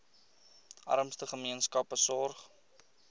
armste gemeenskappe sorg